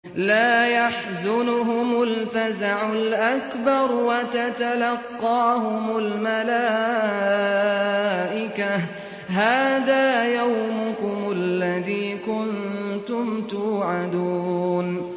لَا يَحْزُنُهُمُ الْفَزَعُ الْأَكْبَرُ وَتَتَلَقَّاهُمُ الْمَلَائِكَةُ هَٰذَا يَوْمُكُمُ الَّذِي كُنتُمْ تُوعَدُونَ